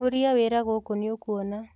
ũria wĩra gũkũ nĩũkuona